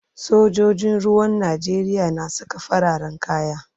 Sojojin ruwan Najeriya na saka fararen kaya.